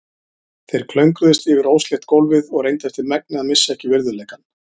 Þeir klöngruðust yfir óslétt gólfið og reyndu eftir megni að missa ekki virðuleikann.